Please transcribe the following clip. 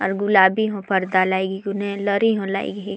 और गुलाबी हों पर्दा लाइग हे हूने लरी हो लाइग हे।